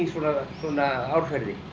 svona árferði